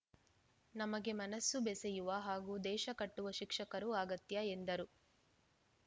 ನಮಗೆ ಮನಸ್ಸು ಬೇಸೆಯುವ ಹಾಗೂ ದೇಶ ಕಟ್ಟುವ ಶಿಕ್ಷಕರು ಅಗತ್ಯ ಎಂದರು